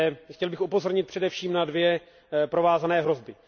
Chtěl bych upozornit především na dvě provázané hrozby.